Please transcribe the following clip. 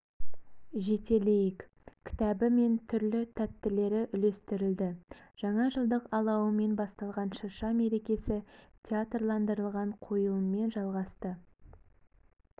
жетелейік кітабы мен түрлі тәттілер үлестірілді жаңа жылдық алауымен басталған шырша мерекесі театрландырылған қойылыммен жалғасты